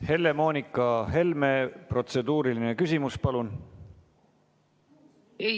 Helle-Moonika Helme, protseduuriline küsimus, palun!